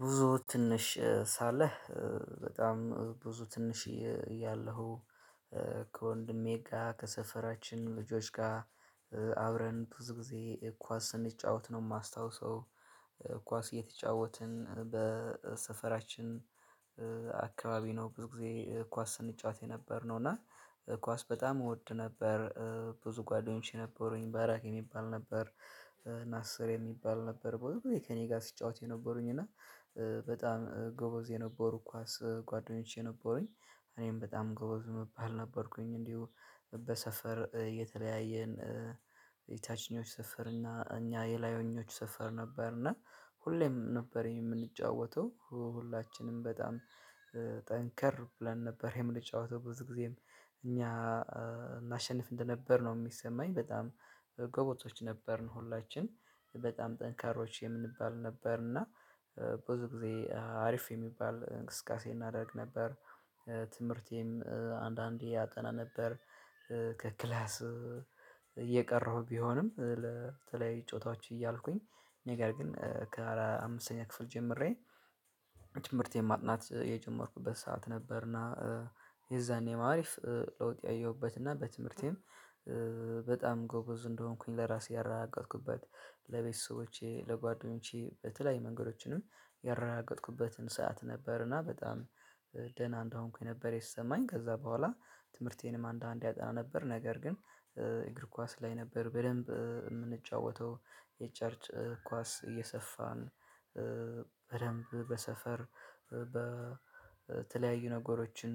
ብዙ ትንሽ ሳለህ በጣም ብዙ ትንሽ እያለሁ ከወንድሜ ካ ከሰፈራችን ልጆች ጋር አብረን ብዙ ጊዜ ኳስ ስንጫወት ነው የማስታውሰው ኳስ እየተጫወትን በሰፈራችን አካባቢ ነው ብዙ ጊዜ ኳስ ስንጫወት የነበርነው እና ኳስ በጣም እወድ ነበር ብዙ ጓደኞቼ ነበሩኝ ባራሂ የሚባል ነበር ናስር የሚባል ነበር ብዙ ግዜ ከእኔ ጋር ሲጫወት የነበሩኝ እና በጣም ጎበዝ የነበሩ ኳስ ጓደኞቼ ነበሩኝ። እኔም በጣም ጎበዝ ምባል ነበርኩኝ። እንዲሁ በሰፈር የተለያየን የታችኞች ሰፈር እና እኛ የላዮኞች ሰፈር ነበር እና ሁሌም ነበር የምንጫወተው ሁላችንም በጣም ጠንከር ብለን ነበር የምንጫወተው ብዙ ጊዜም እኛ የምናሸነፍ እንደነበር ነው የሚሰማኝ። በጣም ጎበዞች ነበርን ሁላችን በጣም ጠንካሮች የምንባል ነበር እና ብዙ ጊዜ አሪፍ የሚባል እንቅስቃሴ እናደርግ ነበር። ትምህርቴም አንዳንዴ አጠና ነበር። ከክላስ እየቀረሁ ቢሆንም ለተለያዩ ጨዋታዎችን እያልኩኝ ነገር ግን ከአራ አምስተኛ ክፍል ጀምሬ ትምህርቴን ማጥናት የጀመርኩበት ሰዓት ነበርና የዛኔ ነው አሪፍ ለውጥ ያየሁበትና በትምህርቴም በጣም ጎበዝ እንደሆንኩኝ ለራሴ ያረጋገጥኩበት፣ ለቤተሰቦቼ ለጓደኞቼ በተለያዩ መንገዶችንም ያረጋገጥኩበትን ሰዓት ነበር እና በጣም ደህና እንደሆንኩኝ ነበር የተሰማኝ። ከዛ በኋላ ትምህርቴንም አንዳንዴ አጠና ነበር። ነገር ግን እግር ኳስ ላይ ነበር በደንብ የምንጫወተው የጨርጭ ኳስ እየሰፋን በደንብ በሰፈር በተለያዩ ነገሮችን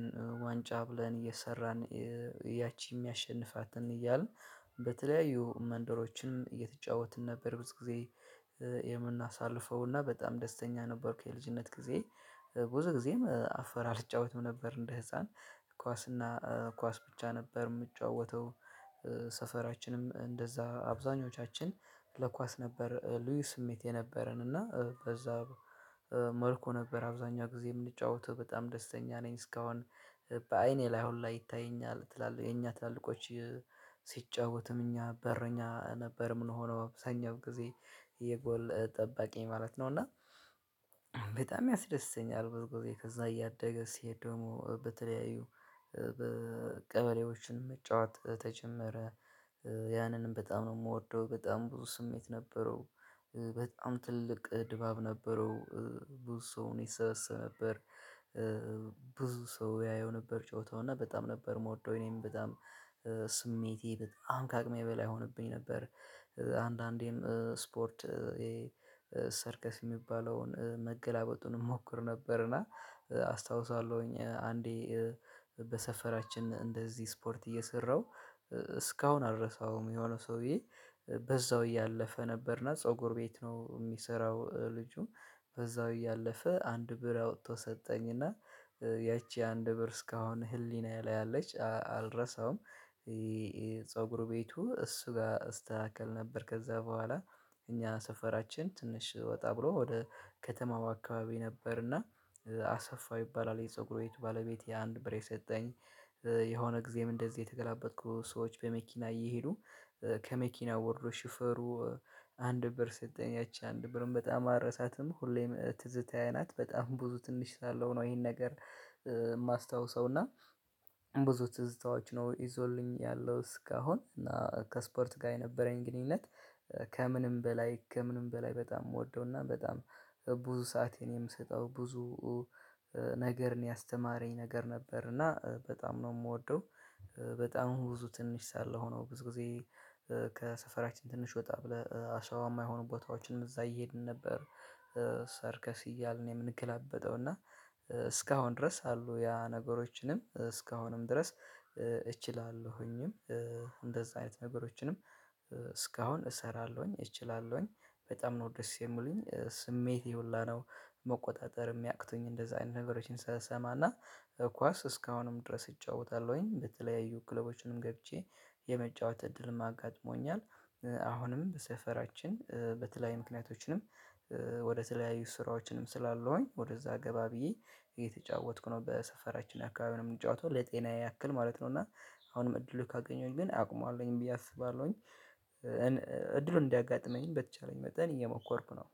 ዋንጫ ብለን እየሰራን ያቺ የሚያሸንፋትን እያልን በተለያዩ መንደሮችን እየተጫወትን ነበር ብዙ ጊዜ የምናሳልፈው። እና በጣም ደስተኛ ነበርኩ የልጅነት ጊዜ። ብዙ ጊዜም አፈር አልጫወትም ነበር እንደ ህፃን። ኳስና ኳስ ብቻ ነበር የምጫወተው። ሰፈራችንም እንደዛ አብዛኞቻችን ለኳስ ነበር ልዩ ስሜት የነበረን እና በዛ መልኩ ነበር አብዛኛው ጊዜ የምንጫወተው። በጣም ደስተኛ ነኝ እስካሁን በአይኔ ላይ ሁላ ይታየኛል። ትላልቅ የኛ ትላልቆች ሲጫወቱም እኛ በረኛ ነበር ምንሆነው አብዛኛው ጊዜ። የጎል ጠባቂ ማለት ነው። እና በጣም ያስደስተኛል ብዙ ጊዜ። ከዛ እያደገ ሲሄድ ደግሞ በተለያዩ ቀበሌዎችንም መጫወት ተጀመረ። ያንንም በጣም ነው የምወደው በጣም ብዙ ስሜት ነበረው በጣም ትልቅ ድባብ ነበረው። ብዙ ሰውም ይሰብሰብ ነበር። ብዙ ሰው ያየው ነበር ጨዋታውን። እና በጣም ነበር የምወደው። እኔም በጣም ስሜቴ በጣም ከአቅሜ በላይ ይሆንብኝ ነበር። አንዳንዴም ስፖርት ይሄ ሰርከስ የሚባለውን መገላበጡን እሞክር ነበርና አስታውሳለሁኝ አንዴ በሰፈራችን እንደዚህ ስፖርት እየሰራሁ እስካሁን አልረሳውም። የሆነ ሰውዬ በዛው እያለፈ ነበርና ፀጉር ቤት ነው የሚሰራው ልጁ። በዛው እያለፈ አንድ ብር አውጥቶ ሰጠኝ እና ያቺ አንድ ብር እስካሁን ህሊናዬ ላይ አለች። አልረሳውም። የፀጉር ቤቱ እሱ ጋር እስተካከል ነበር። ከዛ በኋላ እኛ ሰፈራችን ትንሽ ወጣ ብሎ ወደ ከተማው አካባቢ ነበርና አሰፋ ይባላል የፀጉር ባለቤት የአንድ ብር የሰጠኝ። የሆነ ጊዜም እንደዚህ እየተገላበጥኩ ሰዎች በመኪና እየሄዱ ከመኪናው ወርዶ ሹፌሩ አንድ ብር ሰጠኝ። ያቺ አንድ ብርም በጣም አልረሳትም። ሁሌም ትዝታዬ ናት። በጣም ብዙ ትንሽ ሳለው ነው ይሄን ነገር የማስታውሰው እና ብዙ ትዝታዎች ነው ይዞልኝ ያለው እስካሁን። እና ከስፖርት ጋር የነበረኝ ግንኙነት ከምንም በላይ ከምንም በላይ በጣም የምወደው እና በጣም ብዙ ሰዓት የምሰጠው ብዙ ነገርን ያስተማረኝ ነገር ነበር እና በጣም ነው የምወደው በጣም ብዙ ትንሽ ሳለ ሆኖ ብዙ ጊዜ ከሰፈራችን ትንሽ ወጣ ብለህ አሸዋማ የሆኑ ቦታዎችን እዛ እየሄድን ነበር ሰርከስ እያልን የምንገላበጠው እና እስካሁን ድረስ አሉ ያ ነገሮችንም እስካሁንም ድረስ እችላለሁኝም እንደዛ አይነት ነገሮችንም እስካሁን እሰራለሁኝ። እችላለሁኝ። በጣም ነው ደስ የምሉኝ። ስሜቴ ሁላ ነው መቆጣጠር የሚያቅቱኝ እንደዛ አይነት ነገሮችን ስሰማና። ኳስ እስካሁንም ድረስ እጫወታለሁኝ። በተለያዩ ክለቦችንም ገብቼ የመጫወት እድልም አጋጥሞኛል። አሁንም በሰፈራችን በተለያዩ ምክንያቶችንም ወደ ተለያዩ ስራዎችንም ስላለውኝ ወደዛ ገባ ብዬ እየተጫወትኩ ነው። በሰፈራችን አካባቢ ነው የምጫወተው ለጤናዬ ያክል ማለት ነው። እና አሁንም እድሉ ካገኘሁኝ ግን አቅሙ አለኝ ብዬ አስባለሁኝ። እን እድሉ እንዲያጋጥመኝም በተቻለኝ መጠን እየሞከርኩ ነው።